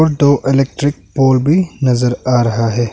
दो electric pole भी नजर आ रहा है।